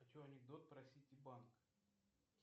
хочу анекдот про сити банк